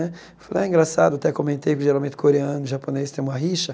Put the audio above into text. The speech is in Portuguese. Né falei, é engraçado, até comentei, porque geralmente coreano e japonês tem uma rixa.